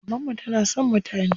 Mamanmu tana son mutane.